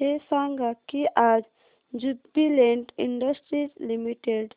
हे सांगा की आज ज्युबीलेंट इंडस्ट्रीज लिमिटेड